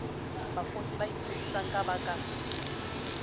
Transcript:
bavouti ba ingodisang ba ka